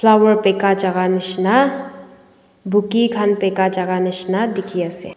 flower bika jaka nishina bouque khan bika jaka nishina dikhiase.